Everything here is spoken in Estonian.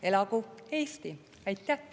Elagu Eesti!